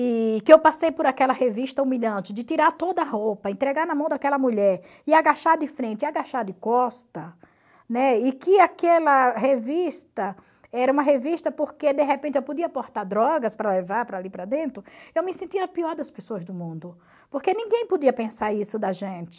e que eu passei por aquela revista humilhante de tirar toda a roupa, entregar na mão daquela mulher e agachar de frente e agachar de costa, né, e que aquela revista era uma revista porque de repente eu podia portar drogas para levar para ali para dentro, eu me sentia a pior das pessoas do mundo, porque ninguém podia pensar isso da gente.